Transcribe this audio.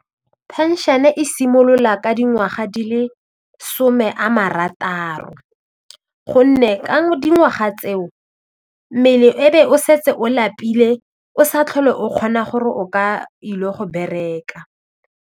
Phenšene e simolola ka dingwaga di le some a marataro gonne ka dingwaga tseo mmele e be o setse o lapile o sa tlhole o kgona gore o ka ile go bereka.